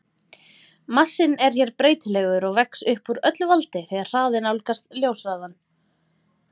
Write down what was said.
Massinn er hér breytilegur og vex upp úr öllu valdi þegar hraðinn nálgast ljóshraðann.